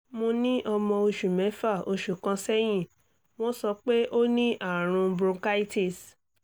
mo ní ọmọ oṣù mẹ́fà oṣù kan sẹ́yìn wọ́n sọ pé ó ní àrùn bronchitis